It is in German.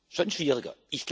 schon schwieriger